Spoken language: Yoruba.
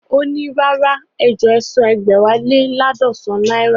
Ó ní, rárá ejọ̀ọ́ ẹsan ẹ̀gbẹ́wá lé laadọsan náírà